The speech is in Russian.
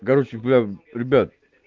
короче блядь ребят